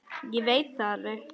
Ég veit það alveg.